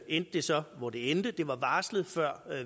endte det så hvor det endte det var varslet før